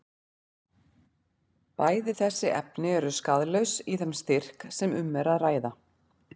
Bæði þessi efni eru skaðlaus í þeim styrk sem um er að ræða.